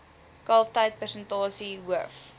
kalftyd persentasie hoof